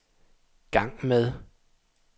gang med